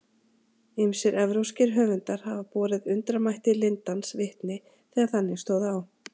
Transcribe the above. Ýmsir evrópskir höfundar hafa borið undramætti lindans vitni þegar þannig stóð á.